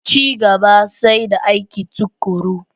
Ci gaba sai da aiki tuƙuru.